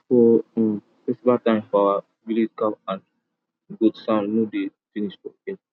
for um festival time for our village cow and goat sound no dey finish for air